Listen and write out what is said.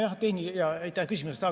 Aitäh küsimuse eest!